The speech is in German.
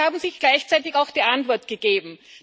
Und sie haben sich gleichzeitig auch die Antwort gegeben.